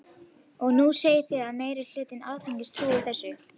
Og nú segið þið að meiri hluti Alþingis trúi þessu.